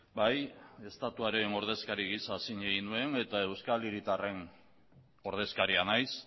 bai estatuaren ordezkari gisa zin egin nuen eta euskal hiritarren ordezkaria naiz